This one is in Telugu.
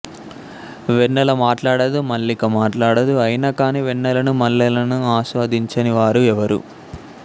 వెన్నెల మాటాడదు మల్లిక మాటాడదు అయినా కానీ వెన్నెలను మల్లెలను ఆస్వాదించని వారు ఎవరు